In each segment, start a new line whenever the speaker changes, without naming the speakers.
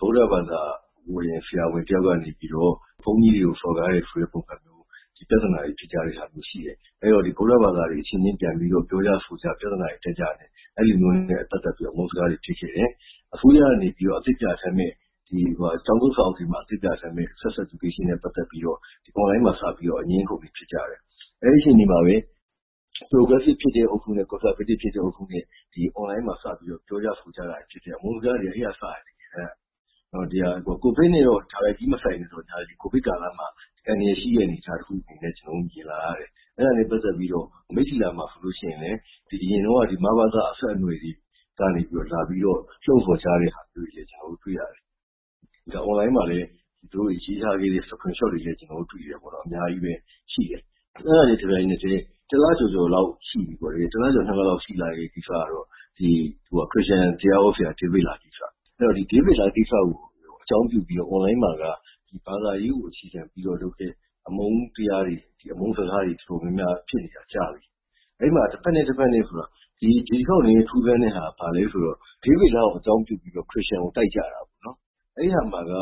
ဗုဒ္ဓဘာသာဝင် ဆရာဝန်တယောက်ကနေပြီးတော့ ဘုန်းကြီးတွေကို စော်ကားတယ်ဆိုတဲ့ ပုံစံမျိုး ပြဿနာတွေဖြစ်ကြတာရှိတယ် အဲဒီတော့ ဗုဒ္ဓဘာသာဝင်တွေ အချင်းချင်း ပြောကြဆိုကြ ပြဿနာတွေဖြစ်ကြနဲ့ အဲလိုမျိုးနဲ့ ပတ်သက်ပြီးတော့ အမုန်းစကားတွေ ဖြစ်ခဲ့တယ်။ အစိုးရကနေ ကျောင်းသုံးစာအုပ်တွေမှာ အသစ်ပြဌာန်းမယ့် Sex Education နဲ့ ပတ်သက်ပြီးတော့ online မှာစပြီး အငြင်းအခုံတွေဖြစ်ကြတယ်။ အဲဒီအချိန်မှာပဲ Progressive ဖြစ်တဲ့ အုပ်စုနဲ့ Conservative ဖြစ်တဲ့ အုပ်စုနဲ့ online မှာစပြီးတော့ ပြောကြဆိုကြတာနဲ့ အမုန်းစကားတွေ က အဲဒီကနေ စတယ် တကယ်တမ်းက ။ COVID နဲ့ တိုက်ရိုက်မဆိုင်ပေမယ့် COVID ကာလမှာ အန္တရာယ်ရှိတဲ့တခုအနေနဲ့ ကျနော်တို့ မြင်လာရတယ်။ အဲဒါနဲ့ ပတ်သက်ပြီးတော့ မိတ္ထီလာမှာဆိုရင်လည်း အရင်တုန်းက မဘသ အဆက်အနွယ်တွေကနေပြီးတော့ လှုံ့ဆော်ကြတာတွေ တွေ့ရတယ်။ Online မှာလည်း ရေးထားတဲ့ Screenshot တွေ ကျနော်တို့ တွေ့တယ် အများကြီးပဲ ရှိတယ်။ အဲဒါနဲ့တဆက်တည်း တလကျော်၊ ၂ လလောက်ရှိလာတဲ့ ကိစ္စကတော့ ခရစ်ယာန်တရားဟောဆရာဒေးဗစ်လားကိစ္စ။ဒေးဗစ်လားကိစ္စကို အကြောင်းပြုပြီးတော့ online မှာက ဘာသာရေးကို အခြေခံပြီးလုပ်တဲ့ အမုန်းစကားတွေ တော်တော်များများဖြစ်နေတာ ကြာပြီ။ အဲဒီမှာ တဘက်နဲ့ တဘက် ဆိုတာ ဒီတခေါက်နည်းနည်းထူးဆန်းတာက ဒေးဗစ်လား ကို အကြောင်းပြုပြီး ခရစ်ယာန်ကို တိုက်ကြတာပေါ့နော် ။ အဲဒီမှာ ၂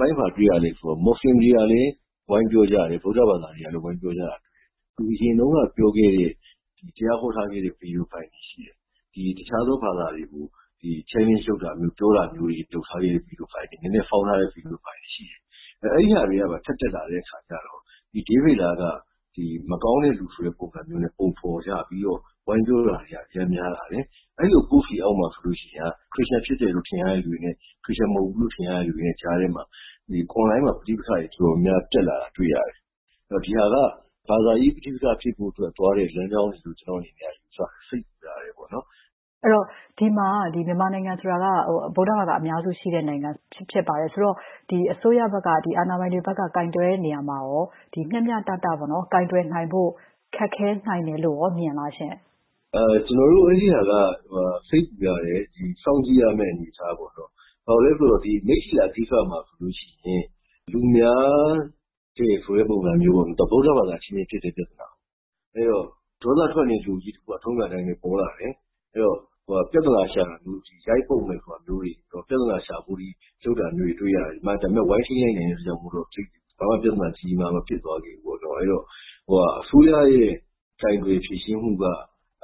ပိုင်း ဘာတွေ့ရသလဲဆိုတော့ မွတ်ဆလင် တွေကလည်း ဝိုင်းပြောတယ် ၊ဗုဒ္ဓဘာသာ တွေကလည်း ဝိုင်းပြောတယ်။ သူအရင်တုန်းက ပြောခဲ့တဲ့ တရားဟောထားခဲ့တဲ့ Video ဖိုင်တွေရှိတယ်။ တခြား ဘာသာတွေကို challenge လုပ်ထားတဲ့ Video ဖိုင်တွေရှိတယ်။ အဲဒါတွေ ထပ်တက်လာတော့ဒေးဗစ်လားက မကောင်းတဲ့သူဆိုပြီး ပုံဖော်ကြပြီးတော့ ဝိုင်းပြောတာတွေ အရမ်းများလာတယ်။ အဲဒီလို Post တွေအောက်မှာဆိုရင် ခရစ်ယာန်ဖြစ်တယ်လို့ ထင်ရတဲ့သူတွေနဲ့ ခရစ်ယာန်မဟုတ်ဘူးလို့ ထင်ရတဲ့လူတွေကြားထဲမှာ Online မှာ ပဋိပက္ခတွေ တော်တော်များများ တက်လာတာတွေ့ရတယ်။ ဒါက ဘာသာရေး ပဋိပက္ခဖြစ်ဖို့အတွက် သွားတဲ့လမ်းကြောင်းတွေလို့ ကျနော့်အနေနဲ့ ယူဆတယ်။ စိတ်ပူရတယ်ပေါေ့နာ်။
မစုမြတ်မွန်။ ။ မြန်မာနိုင်ငံက ဗုဒ္ဓဘာသာဝင်တွေ အများစုရှိတဲ့ နိုင်ငံဖြစ်ပါတယ်။ အဲဒီတော့ အစိုးရက ကိုင်တွယ်တဲ့နေရာမှာရော မျှမျှတတ ကိုင်တွယ်နိုင်ဖို့ ခက်ခဲနိုင်တယ်လို့ မြင်သလားရှင့်။
ကိုသက်ဆွေဝင်း။ ။ ကျနော်တို့အဲဒါက စိတ်ပူရတယ် စောင့်ကြည့်ရမယ့်အနေအထား ပေါ့နော် ဘာဖြစ်လို့လဲဆိုတော့ မိတ္ထီလာမှာဆိုရင် သူများနဲ့မဟုတ်ဘူး ဗုဒ္ဓဘာသာ အချင်းချင်းဖြစ်တဲ့ပြဿနာ။ အဲဒီတော့ ဒေါသထွက်နေတဲ့လူအုပ်က ထုံးစံအတိုင်းပေါ်လာတယ်။ ပြီးတော့ ရိုက်မယ် ပြဿနာရှာမယ် အထိ လုပ်တာတွေ့ရတယ်။ ဒါပေမယ့် ဝိုင်းထိန်းလိုက်နိုင်တဲ့အတွက် ဘာမှ ကြီးကြီးမားမား မဖြစ်သွားခဲ့ဘူးပေါ့နော်။ အဲဒါတော့ အစိုးရရဲ့ ကိုင်တွယ်ဖြေရှင်းမှုက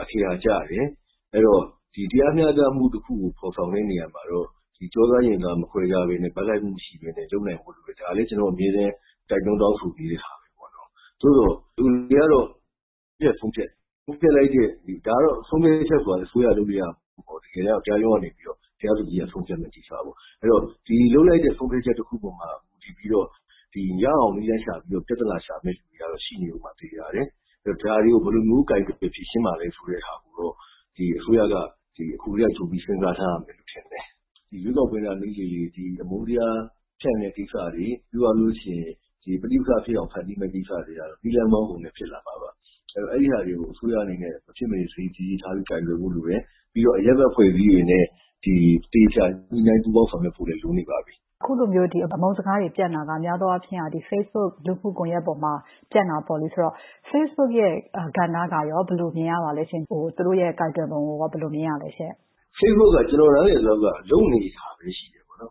အခရာကျတယ်။ တရားမျှတမှု တခုကို ဖော်ဆောင်တဲ့နေရာမှာ ကျောသားရင်သားမခွဲပဲ ၊ ဘက်လိုက်မှုမရှိပဲ လုပ်နိုင်ဖို့လိုတယ်။ ဒါလဲကျနော် အမြဲတိုက်တွန်း တောင်းဆိုနေတာပဲပေါ့နော်။ ဒါပေမယ့် ဘယ်လိုပဲ ဆုံးဖြတ်ဆုံးဖြတ် ၊ ဒါကတော့ ဆုံးဖြတ်ချက်ဆိုတာလည်း အစိုးရလုပ်လို့ရတာမဟုတ်ဘူးပေါ့နော် တကယ်တမ်း တရားရုံးကနေပြီးတော့ တရားသူကြီး ဆုံးဖြတ်ရမယ့် ကိစ္စကို ။ ဒီလိုလုပ်လိုက်တဲ့ ဆုံးဖြတ်ချက်တခုအပေါ်မှာ မူတည်ပြီး ရအောင်နည်းလမ်းရှာပြီး ပြဿနာရှာမယ့် သူတွေ ရှိနေဦးမှာသေချာတယ်။ ဒါကို ဘယ်လို ကိုင်တွယ်ဖြေရှင်းမှာလဲဆိုတာကို မူတည်ပြီးတော့ အစိုးရက အခုကတည်းကနေ ကြိုစဉ်းစားရမယ်။ ရွေးကောက်ပွဲနား နီးလေလေ ဒီ အမုန်းတရားဖြန့်တဲ့ကိစ္စတွေ ၊ ပဋိပက္ခဖြစ်အောင် ဖန်တီးမယ့် ကိစ္စတွေကတော့ နည်းလမ်းပေါင်းစုံနဲ့ ဖြစ်လာမှာပါ။ အဲဒါတွေကို အစိုးရအနေနဲ့ သတိထားပြီး မဖြစ်မနေ ကိုင်တွယ်ဖို့လိုတယ် ပြီးတော့အရပ်ဘက် အဖွဲ့အစည်းတွေနဲ့ သေချာ ညှိနှိုင်းပူးပေါင်းဆောင်ရွက်ဖို့လိုနေပါပြီ
။ မစုမြတ်မွန်။ ။ အခုလိုမျိုး အမုန်းစကား တွေပြန့်တာက များသောအားဖြင့် Facebook လူမှုကွန်ယက်ပေါ်မှာ ပြန့်တာပေါ့လေ အဲဒါဆိုတော့ Facebook ကဏ္ဍကရော ၊ သူတို့ ကိုင်တွယ်ပုံရော ဘယ်လိုမြင်ရပါသလဲ။ က
ိုသက်ဆွေဝင်း။ ။ Facebook က ကျနော်နားလည်သလောက်က လုပ်နေတဲ့အနေအထားပဲ ရှိတယ်ပေါ့နော်